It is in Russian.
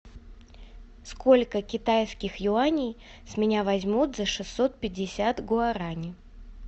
сколько китайских юаней с меня возьмут за шестьсот пятьдесят гуарани